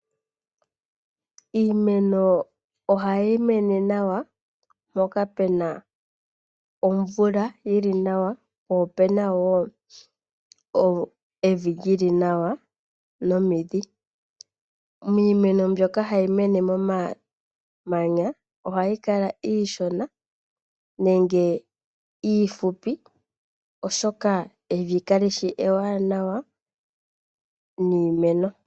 Iimeno ohayi mene nawa mpoka pena omvula yi li nawa po opena wo evi lyili nawa nomidhi. Miimeno mbyoka hayi mene momamanya ohayi kala iishona nenge iifupi, oshoka evi kalishi ewanawa niimeno.